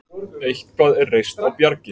Eitthvað er reist á bjargi